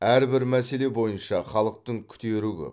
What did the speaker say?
әрбір мәселе бойынша халықтың күтері көп